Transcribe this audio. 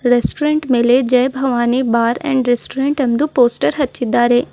Restaurant ಮೇಲೆ Jai Bhavani bar and restaurant ಎಂದು ಹಚ್ಚಿದ್ದಾರೆ.